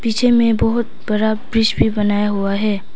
पीछे मैं बहुत बड़ा ब्रिज भी बनाया हुआ है।